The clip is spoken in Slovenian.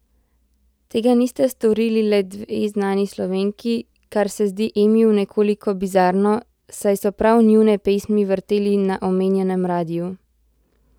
Tega nista storili le dve znani Slovenki, kar se zdi Emiju nekoliko bizarno, saj so prav njune pesmi vrteli na omenjenem radiu.